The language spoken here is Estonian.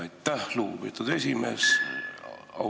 Aitäh, lugupeetud esimees!